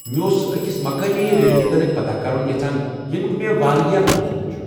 مے اوسُس أکس مقٲمی ریلہِ متعلق پتاہ کرُن یژھان ، ییٚمیُوک مےٚ واریاہ بوٗزمُت چھُ ۔